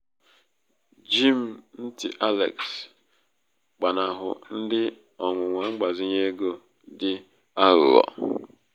gee m ntì alex gbanahụ ndị ọnwụnwa mgbazinye ego ọnwụnwa mgbazinye ego dị aghụghọ.